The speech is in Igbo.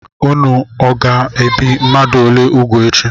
Ụnụ ọga ebi mmadụ ole úgwù echi?